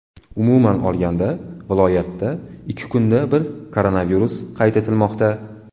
Umuman olganda viloyatda ikki kunda bir koronavirus qayd etilmoqda.